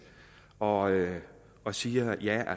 og og siger